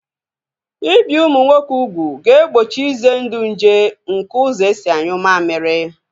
Ibi ụmụ nwoke ugwu ga-egbochi ize ndụ nje nke ụzọ esi anyụ mammiri